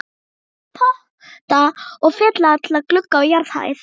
Ég set í potta og fylli alla glugga á jarðhæð.